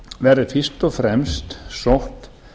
verði fyrst og fremst sótt